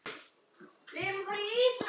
Það óx ekki eðlilega.